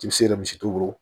I bɛ se yɛrɛ misi t'u bolo